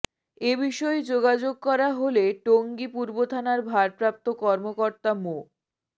এ বিষয়ে যোগাযোগ করা হলে টঙ্গী পূর্ব থানার ভারপ্রাপ্ত কর্মকর্তা মো